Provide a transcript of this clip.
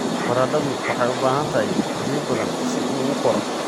Baradhadu waxay u baahan tahay biyo badan si uu u koro.